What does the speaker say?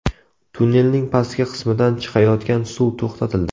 Tunnelning pastki qismidan chiqayotgan suv to‘xtatildi.